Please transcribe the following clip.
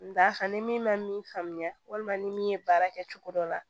N d'a kan ni min ma min faamuya walima ni min ye baara kɛ cogo dɔ la